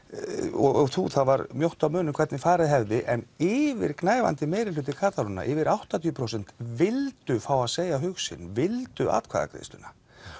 og þú þá var mjótt á munum hvernig farið hefði en yfirgnæfandi meirihluti Katalóníubúa yfir áttatíu prósent vildu fá að segja hug sinn vildu atkvæðagreiðsluna